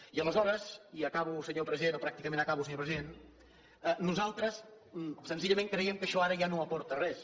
i aleshores i acabo senyor president o pràcticament acabo senyor president nosaltres senzillament creiem que això ara ja no aporta res